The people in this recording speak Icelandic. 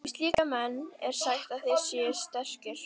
Um slíka menn er sagt að þeir séu sterkir.